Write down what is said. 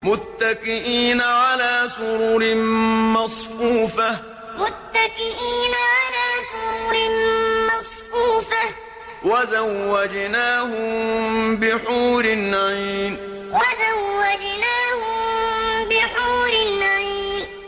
مُتَّكِئِينَ عَلَىٰ سُرُرٍ مَّصْفُوفَةٍ ۖ وَزَوَّجْنَاهُم بِحُورٍ عِينٍ مُتَّكِئِينَ عَلَىٰ سُرُرٍ مَّصْفُوفَةٍ ۖ وَزَوَّجْنَاهُم بِحُورٍ عِينٍ